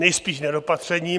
Nejspíš nedopatřením.